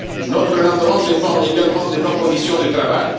Notre rendement dépend également de nos conditions de travail.